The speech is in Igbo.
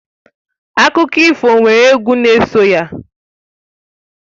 Akụkọ ifo nwere egwu n'eso ya.